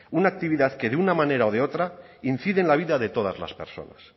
una actividad que de una manera o de otra incide en la vida de todas las personas